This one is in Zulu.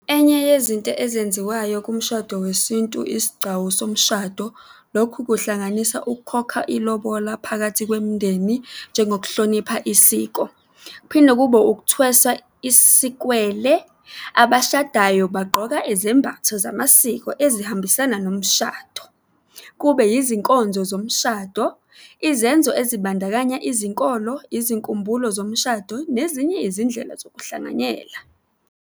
Enye yezinto ezenziwayo kumshado wesintu isigcawu somshado. Lokhu kuhlanganisa ukukhokha ilobola phakathi kwemindeni njengokuhlonipha isiko. Kuphinde kube ukuthweswa isikwele. Abashadayo bagqoka izembatho zamasiko ezihambisana nomshado. Kube izinkonzo zomshado, izenzo ezibandakanya izinkolo, izinkumbulo zomshado nezinye izindlela zokuhlanganyela.